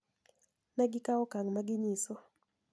Ne gikawo okang` ma ginyiso